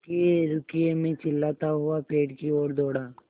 रुकिएरुकिए मैं चिल्लाता हुआ पेड़ की ओर दौड़ा